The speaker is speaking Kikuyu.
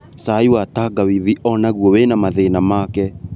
Cai wa tangawithi onaguo wĩna na mathĩna make